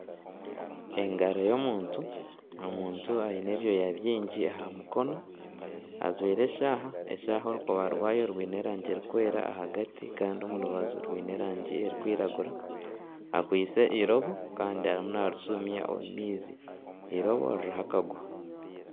Engaro y'omuntu, omuntu aine ebyoya byingi aha mukono, ajwaire eshaaha, eshaaha orukoba rwayo rwine erangi erikwera ahagati kandi omu rubaju rwine erangi erikwiragura, akwaitse eirobo Kandi arimu narishumya omu maizi eirobo ririho akaguha.